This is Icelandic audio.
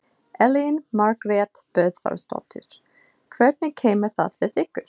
Elín Margrét Böðvarsdóttir: Hvernig kemur það við ykkur?